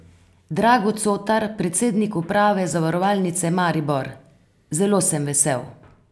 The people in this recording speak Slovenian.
Drago Cotar, predsednik uprave Zavarovalnice Maribor: 'Zelo sem vesel.